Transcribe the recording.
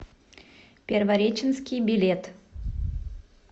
первореченский билет